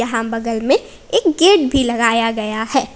यहां बगल में एक गेट भी लगाया गया है।